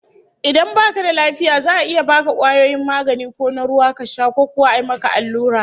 Idan baka da lafiya za'a iya baka kwayoyin magani ko na ruwa ka sha, ko kuwa a yi maka allura